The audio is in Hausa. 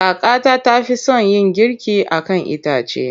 Kakata ta fi son yin girki a kan itace.